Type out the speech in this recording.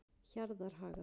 Hjarðarhaga